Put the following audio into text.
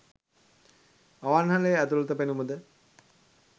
අවන්හලේ ඇතුළත පෙනුමද